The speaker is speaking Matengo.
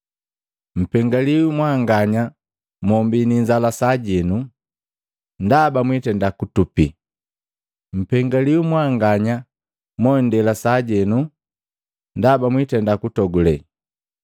Mpengaliwi mwanganya mommbii ni inzala sajenu, ndaba mwitenda kutupi!” Mpengaliwi mwanganya mondela heno, Ndaba mwitenda kutogule!